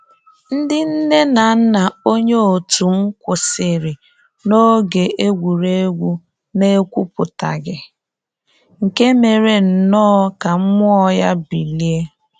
Ndị nne na nna onye otum kwụsịrị na oge egwuregwu na ekwuputaghị, nke mere nnọọ ka mmụọ ya bilie